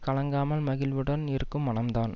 கலங்காமல் மகிழ்வுடன் இருக்கும் மனம் தான்